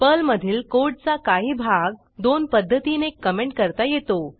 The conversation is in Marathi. पर्लमधील कोडचा काही भाग दोन पध्दतीने कॉमेंट करता येतो